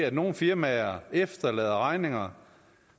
at nogle firmaer efterlader regninger